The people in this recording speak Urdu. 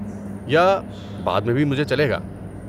یا بعد میں بھی مجھے چلے گا۔